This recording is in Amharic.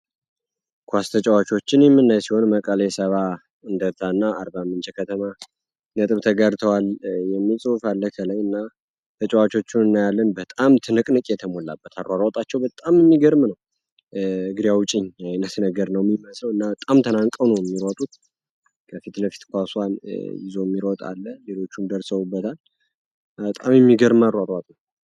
ኳስ ጨዋታዎችን የምንመለከት ሲሆን እና መቀሌ ሰብአንዳርታ እና አርባ ምንጭ ከተማ ገብተዋል የሚል ጽሁፍ አለኝ ተጫዋቾች እናያለን በጣም ትንቅንቅ የተሞላበት አሯሯጥ አሯሯጭ በጣም የሚገርም ነው እግሬ አውጪ አይነት ነገር ነው ሚመስለው እና በጣም ተናንቀው ነው የሚሮጡት ከፊት ለፊት ኳስ ይዞ የሚሮጣለ ሌሎችም ደርሶበታል በጣም የሚገርም አሯሯጭ ነው።